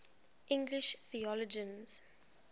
english theologians